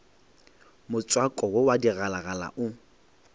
motswako wo wa digalagala o